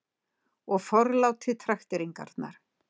Og forlátið trakteringarnar.